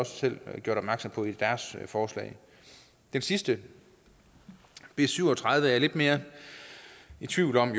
selv gjort opmærksom på i deres forslag det sidste b syv og tredive er jeg lidt mere i tvivl om